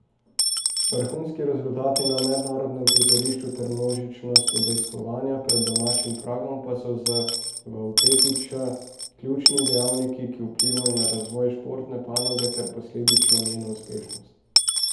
Vrhunski rezultati na mednarodnem prizorišču ter množičnost udejstvovanja pred domačim pragom so za Vavpetiča ključni dejavniki, ki vplivajo na razvoj športne panoge ter posledično njeno uspešnost.